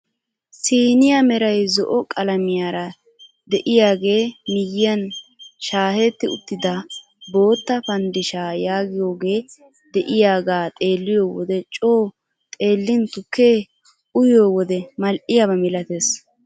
Siiniyaa meray zo'o qalamiyaara de'iyaagee miyiyaan shaahetti uttida bootta pandishshaa yaagiyooge de'iyaaga xeelliyoo wode coo xeellin tukkee uyiyoo wode mal"iyaaba milatees.